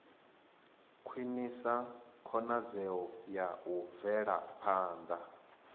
khwinisa khonadzeo ya u bvelaphanda